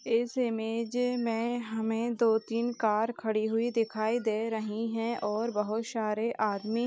इस इमेज में हमें दो तीन कार खड़ी हुई दिखाई दे रही हैं और बहुत सारे आदमी --